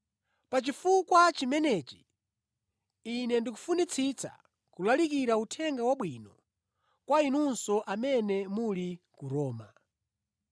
Pa chifukwa chimenechi, ine ndikufunitsitsa kulalikira Uthenga Wabwino kwa inunso amene muli ku Roma.